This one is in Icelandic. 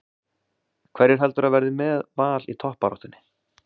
Hverjir heldurðu að verði með Val í toppbaráttunni?